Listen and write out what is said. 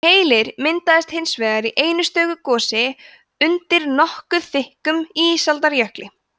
keilir myndaðist hins vegar í einu stöku gosi undir nokkuð þykkum ísaldarjökli